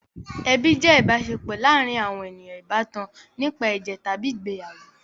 Ẹbi jẹ́ ìbáṣepọ̀ láàárin àwọn ènìyàn ìbátan nípa ẹ̀jẹ̀ tàbí ìgbéyàwó.